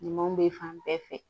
Ɲumanw bɛ fan bɛɛ fɛ